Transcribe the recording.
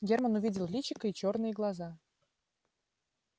германн увидел личико и чёрные глаза